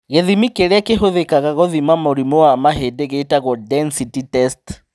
Gĩthimi kĩrĩa kĩhũthĩkaga gũthima mũrimũ wa mahĩndĩ gĩtagwo density test